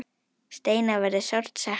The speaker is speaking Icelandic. Steina verður sárt saknað.